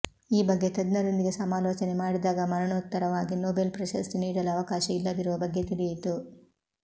ಈ ಬಗ್ಗೆ ತಜ್ಞರೊಂದಿಗೆ ಸಮಾಲೋಚನೆ ಮಾಡಿದಾಗ ಮರಣೋತ್ತರವಾಗಿ ನೊಬೆಲ್ ಪ್ರಶಸ್ತಿ ನೀಡಲು ಅವಕಾಶ ಇಲ್ಲದಿರುವ ಬಗ್ಗೆ ತಿಳಿಯಿತು